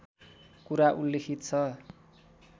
कुरा उल्लिखित छ